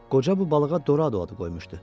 Qoca bu balığa Doradu adı qoymuşdu.